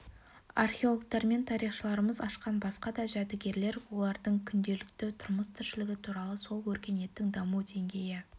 археологтар мен тарихшыларымыз ашқан басқа да жәдігерлер олардың күнделікті тұрмыс-тіршілігі туралы сол өркениеттің даму деңгейі